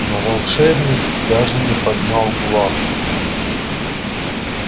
но волшебник даже не поднял глаз